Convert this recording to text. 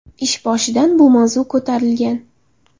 Ish boshidan bu mavzu ko‘tarilgan.